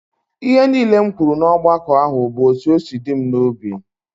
Ihe niile m kwuru n'ọgbakọ ahụ bụ etu ọ si dị m n'obi